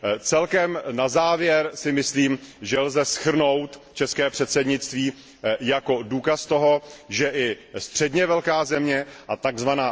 Celkem na závěr si myslím, že lze shrnout české předsednictví jako důkaz toho, že i středně velká země a tzv.